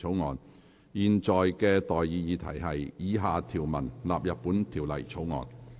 我現在向各位提出的待議議題是：以下條文納入本條例草案。